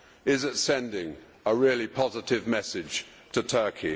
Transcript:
Is it sending a really positive message to Turkey?